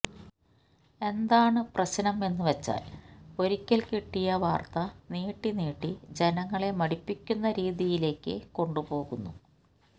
എന്താണ് പ്രശ്നം എന്നു വെച്ചാൽ ഒരിക്കൽ കിട്ടിയ വാർത്ത നീട്ടി നീട്ടി ജനങ്ങളെ മടുപ്പിക്കുന്ന രീതിയിലേക്ക് കൊണ്ടുപോകുന്നു